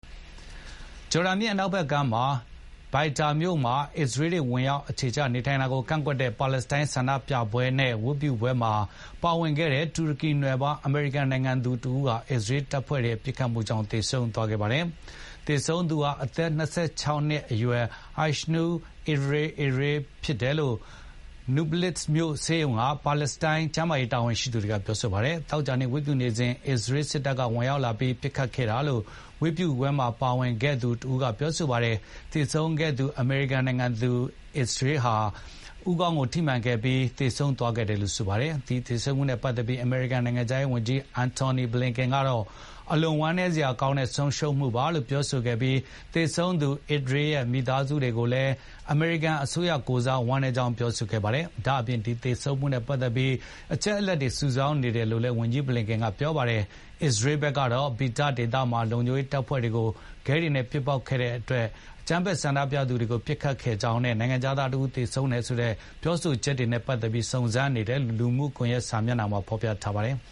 ဂျော်ဒန်မြစ် အနောက်ဘက်ကမ်း Beita (ဘိုက်တာ) မြို့မှာ အစ္စရေးတွေ ဝင်ရောက် အခြေချ နေထိုင်တာကို ကန့်ကွက်တဲ့ ပါလက်စတိုင်းဆန္ဒပြပွဲနဲ့ ဝတ်ပြုပွဲမှာ ပါဝင်ခဲ့တဲ့ တူရကီနွယ်ဖွား အမေရိကန်နိုင်ငံသူတဦးဟာ အစ္စရေးတပ်ဖွဲ့တွေရဲ့ ပစ်ခတ်မှု ကြောင့် သေဆုံးသွားခဲ့ပါတယ်။ သေဆုံးသူဟာအသက် ၂၆ နှစ်အရွယ် Aysenur Ezgi Ezgi ဖြစ်တယ်လို့ Nablus မြို့ ဆေးရုံက ပါလက်စတိုင်းကျန်းမာ ရေးတာဝန်ရှိသူတွေကပြောပါတယ်။ သောကြာနေ့ဝတ်ပြုနေစဉ် အစ္စရေးစစ်တပ်ရောက်လာပြီး ပစ်ခတ်ခဲ့တာလို့ ဒီဝတ်ပြုပွဲမှာပါခဲ့တဲ့ Jabal Subaih ဆိုသူက ပြောပါတယ်။ သေဆုံးခဲ့သူ အမေရိကန်နိုင်ငံသူ Ezgi ဟာ ဦးခေါင်းကိုထိမှန်ခဲ့ပြီး သေဆုံးသွားခဲ့တယ်လို့ဆိုပါတယ်။ ဒီသေဆုံးမှုနဲ့ပတ်သက်ပြီး အမေရိကန် နိုင်ငံခြားရေးဝန်ကြီး Antony Blinken ကတော့ အလွန်ဝမ်းနည်းစရာကောင်းတဲ့ ဆုံးရှုံးမှုလို့ပြောဆိုခဲ့ပြီး သေဆုံးသူ Ezgi ရဲ့မိသားစုကိုလည်း အမေရိကန် အစိုးရ ကိုယ်စား ဝမ်းနည်းကြောင်းပြောဆိုခဲ့ပါတယ်။ ဒါ့အပြင် ဒီသေဆုံးမှုနဲ့ပတ်သက်ပြီး အချက်အလက်တွေ စုဆောင်းနေတယ်လို့လည်း ဝန်ကြီး ဘလင်ကင်က ပြောပါတယ်။ အစ္စရေး စစ်ဘက်ကတော့ Beita ဒေသမှာ လုံခြုံရေးတပ်ဖွဲ့တွေကို ခဲတွေနဲ့ ပစ်ပေါက်ခဲ့တဲ့ အကြမ်းဖက် ဆန္ဒပြသူတွေကို ပစ်ခတ်ခဲ့ကြောင်းနဲ့ နိုင်ငံခြားသားတဦး သေဆုံးခဲ့တယ်ဆိုတဲ့ ပြောဆိုချက်တွေနဲ့ ပတ်သက်ပြီး စုံစမ်းနေတယ်လို့ လူမှုကွန်ရက် စာမျက်နှာတွေမှာ ဖော်ပြခဲ့ပါတယ်။